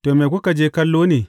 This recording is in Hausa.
To, me kuka je kallo ne?